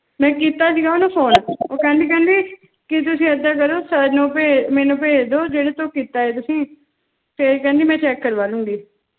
ਮੈਂ ਕੀਤਾ ਆਯ ਜਿਨਾਂ ਨੂ ਫੋਨੇ ਕੇਹੰਡੀ ਕੇਹੰਡੀ ਕੀ ਤੁਸੀਂ ਏਦਾਂ ਕਰੋ ਸਰ ਨੂ ਭੇਜ ਮੇਨੂ ਭੇਜ ਦੋ ਜਿਡੇ ਤੋਂ ਕੀਤਾ ਆਯ ਤੁਸੀਂ ਤੇ ਕੇਹ੍ਨ੍ਦੀ ਮੈਂ ਚੇਕ ਕਰਵਾ ਲੋਨ ਗੀ